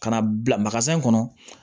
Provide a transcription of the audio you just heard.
Ka na bila kɔnɔ